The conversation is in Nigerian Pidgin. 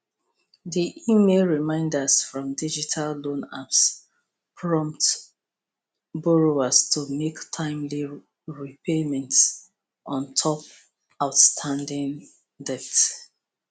di email reminders from digital loan apps prompt borrowers to mek timely repayments on top outstanding debt